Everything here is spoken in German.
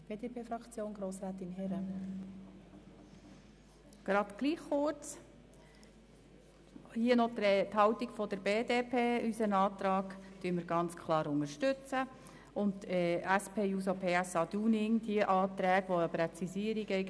Die BDPFraktion unterstützt unseren Antrag ganz klar und lehnt die Anträge der SP-JUSO-PSA-Fraktion ab, die eine Präzisierung wollen.